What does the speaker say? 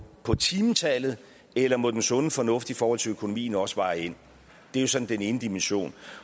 på timetallet eller må den sunde fornuft i forhold til økonomien også veje ind det er så den ene dimension